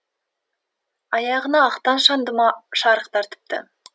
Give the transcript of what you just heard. аяғына ақтан шандыма шарық тартыпты